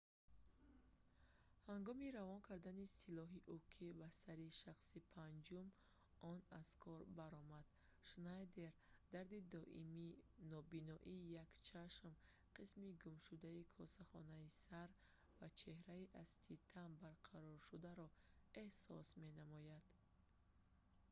ҳангоми равон кардани силоҳи уки ба сари шахси панҷум он аз кор баромад шнайдер дарди доимӣ нобиноии як чашм қисми гумшудаи косахонаи сар ва чеҳраи аз титан барқароршударо эҳсос менамояд